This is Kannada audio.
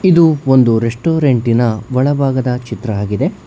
ಇದು ಒಂದು ರೆಸ್ಟೊರೆಂಟಿನ ಒಳಭಾಗದ ಚಿತ್ರಆಗಿದೆ.